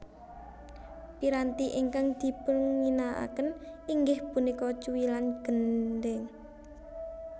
Piranti ingkang dipunginakaken inggih punika cuwilan gendhèng